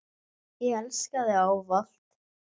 Ég elska þig ávallt.